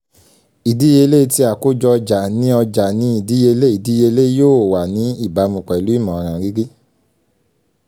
ìdíleyé tí àkójọ ọjà ní ọjà ní ìdíleyé ìdíleyé yóò wà ní ìbámu pẹ̀lú ìmọ̀ràn rírí